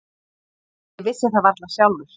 Ég vissi það varla sjálfur.